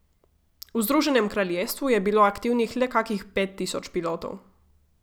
V Združenem kraljestvu je bilo aktivnih le kakih pet tisoč pilotov.